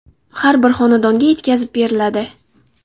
har bir xonadonga yetkazib beriladi.